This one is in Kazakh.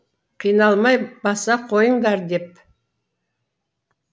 қиналмай баса қойындар деп